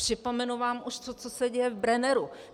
Připomenu vám to, co se už děje v Brenneru.